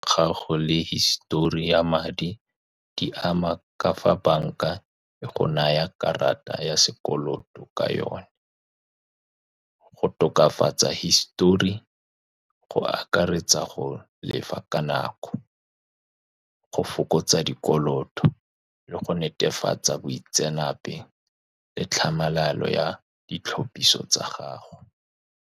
Gago le hisitori ya madi, di ama ka fa banka e go nayang karata ya sekoloto ka yone. Go tokafatsa hisitori go akaretsa go lefa ka nako, go fokotsa dikoloto, le go netefatsa boitseanape le tlhamalalo ya ditlhopiso tsa gago.